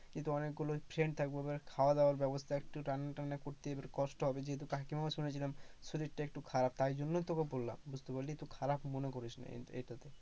কিন্তু অনেক গুলো friend থাকবে, এবার খাওয়া দাওয়ার ব্যবস্থা, একটু রান্নাটান্না করতে কষ্ট হবে, যেহেতু কাকিমাও শুনেছিলাম শরীরটা একটু খারাপ, তাই জন্যই তোকে বললাম বুঝতে পারলি তো, খারাপ মনে করিস না এটাতে।